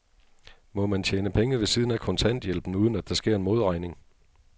Må man tjene penge ved siden af kontanthjælpen, uden at der sker en modregning?